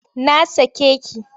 Na sake ki!